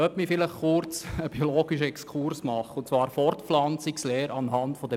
Lassen Sie mich kurz () einen biologischen Exkurs über die Fortpflanzung der Bienen machen.